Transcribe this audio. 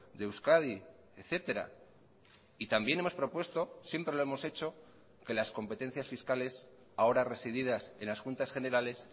de euskadi etcétera y también hemos propuesto siempre lo hemos hecho que las competencias fiscales ahora resididas en las juntas generales